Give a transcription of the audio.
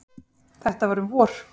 Þetta var um vor.